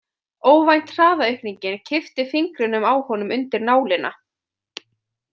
Óvænt hraðaaukningin kippti fingrinum á honum undir nálina.